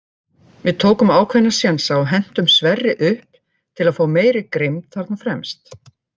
Við tókum ákveðna sénsa og hentum Sverri upp til að fá meiri grimmd þarna fremst.